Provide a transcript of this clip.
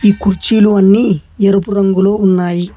కుర్చీలు అన్ని ఎరుపు రంగులో ఉన్నాయి.